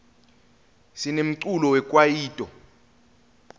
sinemculo we kwayito